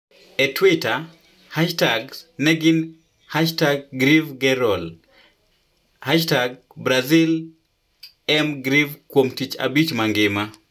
E Twitter, hashtags ne gin #GreveGeral #BrasilEmGreve kuom Tich Abich mangima.